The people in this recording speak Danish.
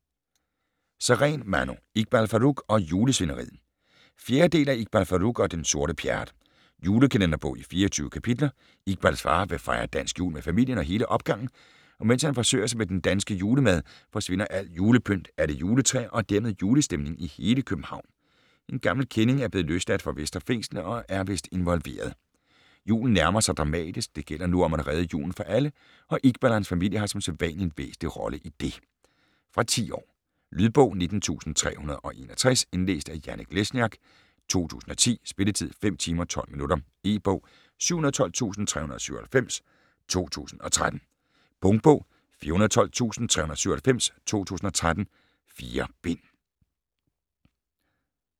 Sareen, Manu: Iqbal Farooq og julesvineriet 4. del af Iqbal Farooq og den sorte Pjerrot. Julekalenderbog i 24 kapitler. Iqbals far vil fejre dansk jul med familien og hele opgangen, og mens han forsøger sig med den danske julemad, forsvinder alt julepynt, alle juletræer og dermed julestemningen i hele København. En gammel kending er blevet løsladt fra Vestre Fængsel, og er vist involveret. Julen nærmer sig dramatisk. Det gælder nu om at redde julen for alle, og Iqbal og hans familie har som sædvanlig en væsentlig rolle i det. Fra 10 år. Lydbog 19361 Indlæst af Janek Lesniak, 2010. Spilletid: 5 timer, 12 minutter. E-bog 712397 2013. Punktbog 412397 2013. 4 bind.